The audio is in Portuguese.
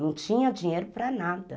Não tinha dinheiro para nada.